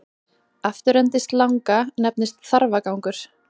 Afturendi slanga nefnist þarfagangur.